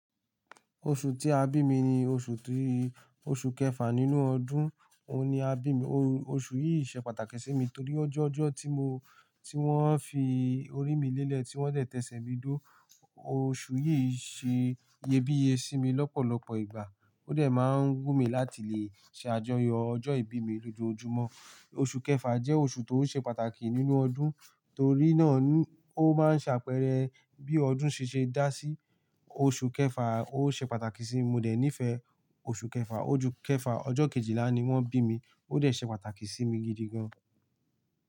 Oṣù tí a bí mi ni oṣù tí, oṣù kẹfà nínú ọdún, òun ni a bí mi. Oṣù yìí ṣe pàtàkì sí mi torí ó jẹ́ ọjọ́ tí mo, tí wọ́n fi orí mi lélẹ̀, tí wọ́n tètè ṣẹ̀ mí dó. Oṣù yìí ṣe iyebíye sí mi lọ́pọ̀lọpọ̀ ìgbà. Ó dẹ̀ máa ń gún mi láti lè ṣe àjọyọ̀ ọjọ́ ìbí mi lójoojúmọ́. Oṣù kẹfà jẹ́ oṣù tó ṣe pàtàkì nínú ọdún torí náà ó máa ń ṣàpẹẹrẹ bí ọdún ṣe ṣe dá sí. Oṣù kẹfà ó ṣe pàtàkì sí mi, mo dẹ̀ nífẹ̀ẹ́ oṣù kẹfà. Oṣù kẹfà, ọjọ́ kejìlá ni wọ́n bí mi, ó dẹ̀ ṣe pàtàkì sí mi gidi gan.